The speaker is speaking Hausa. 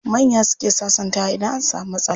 Manya suke sasantawa idan an samu matsala.